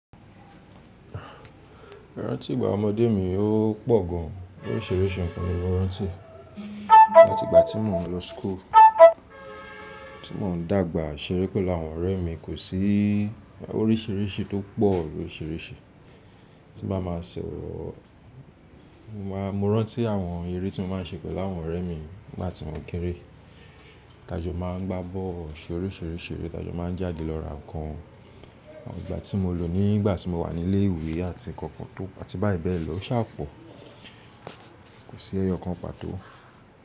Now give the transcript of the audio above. Rántí ìgbà ọmọdé mi, ó pọ̀ gan oríṣiríṣi nǹkan ni mo rántí. Àti ìgbà tí mò ń lọ school, tí mò ń dàgbà ṣeré pẹ̀lú àwọn ọ̀rẹ́ mi kò sí oríṣìíríṣìí tó pọ̀ loríṣìríṣì tí n màá máa sọ̀rọ̀. Mo máa, mo rántí àwọn eré tí mo máa ń ṣeré pẹ̀lú àwọn ọ̀rẹ́ mi nígbà tí mò kéré. Tajọ máa ń gbá bọ́ọ́lù ṣe oríṣiríṣi eré, tajọ máa ń jáde lọ ra ǹkan. Àwọn ìgbà tí mo lò nígbà tí mo wà ní ilé ìwé àti nǹkan kan tó, àti báyìí bẹ́ẹ̀ lọ ó sà pọ̀. Kò sí ẹyọ kan pàtó.